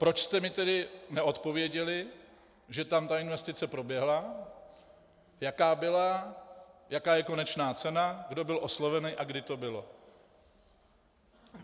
Proč jste mi tedy neodpověděli, že tam ta investice proběhla, jaká byla, jaká je konečná cena, kdo byl osloven a kdy to bylo?